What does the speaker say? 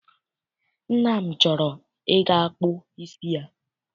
Nna m chọrọ I ga kpụ isi ya.